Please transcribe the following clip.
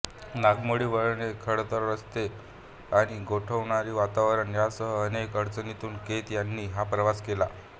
नागमोडी वळणे खडतर रस्ते आणि गोठवणारे वातावरण यांसह अनेक अडचणींतून केत यांनी हा प्रवास केला